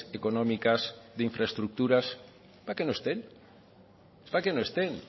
económicas de infraestructuras es para que no estén es para que no estén